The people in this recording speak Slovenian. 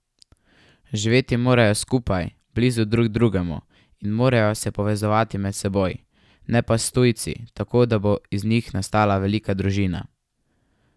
Živeti morajo skupaj, blizu drug drugemu, in morajo se povezovati med seboj, ne pa s tujci, tako da bo iz njih nastala velika družina.